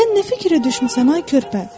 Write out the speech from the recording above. Sən nə fikirə düşmüsən ay körpə?